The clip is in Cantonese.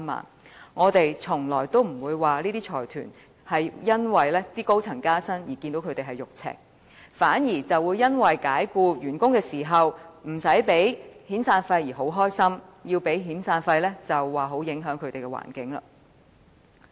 這些財團從來不會因為高層人員加薪而"肉赤"，反而會因為解僱員工時無須支付遣散費而感到高興，一旦要支付遣散費，便說影響營商環境。